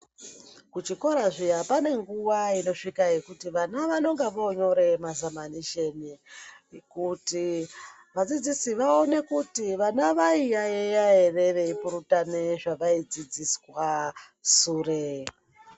Kuchikora zviya pane nguva inosvika yekuti vana vanonga vonyoree mazamanisheni kuti vadzidzisi vaone kuti vana vaiyayeya ere vaipurutana ere zvavaidzidziswa sure.